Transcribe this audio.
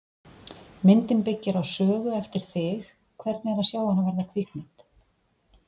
Myndin byggir á sögu eftir þig, hvernig er að sjá hana verða kvikmynd?